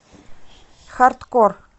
хардкор